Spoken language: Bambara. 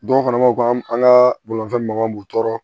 Dɔw fana b'aw ka an ka bolifɛn magɔw b'u tɔɔrɔ